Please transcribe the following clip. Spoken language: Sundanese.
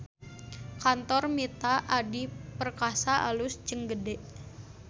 Kantor Mitra Adi Perkasa alus jeung gede